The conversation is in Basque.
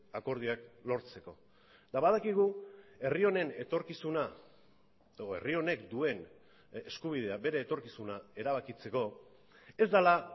akordioak lortzeko eta badakigu herri honen etorkizuna edo herri honek duen eskubidea bere etorkizuna erabakitzeko ez dela